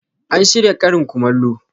An shirya karin kumallo.